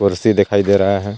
कुर्सी दिखाई दे रहा हैं.